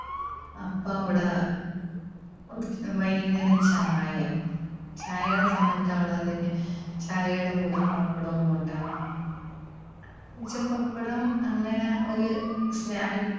അപ്പോ അവിടെ വൈകുന്നേരം ചായ. ചായേടെ സമയത്ത് അവള് അതുകഴിഞ്ഞ് ചായേടെ കൂടെ പപ്പടവും കൊണ്ടാ വന്നത്. പക്ഷേ പപ്പടം അങ്ങനെ ഒരു snacks